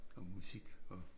Og musik og